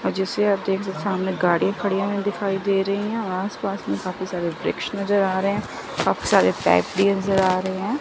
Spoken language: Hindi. और जैसे आप देख सकते है सामने गाड़ी खड़ी हमें दिखाई दे रही हैं और आस पास में काफी सारे वृक्ष नज़र आ रहे हैं काफी सारे फैक्टरी नज़र आ रही हैं।